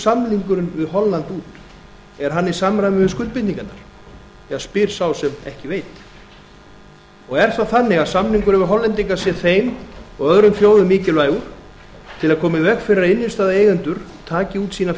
samningurinn við holland út er hann í samræmi við skuldbindingarnar spyr sá sem ekki veit er það þannig að samningurinn við hollendinga sé þeim og öðrum þjóðum mikilvægur til að koma í veg fyrir að innstæðueigendur taki út sína